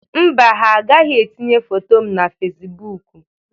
Mba, ha agaghị etinye foto m na Fesibuuku.